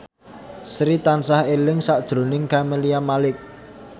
Sri tansah eling sakjroning Camelia Malik